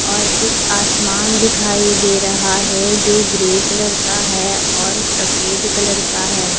और एक आसमान दिखाई दे रहा है जो ग्रे कलर का है और सफेद कलर का है।